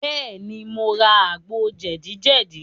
Bẹ́ẹ̀, mo ra àgbo jẹ̀díjẹ̀dí.